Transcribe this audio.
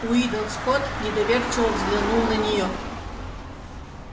уидон скотт недоверчиво взглянул на нее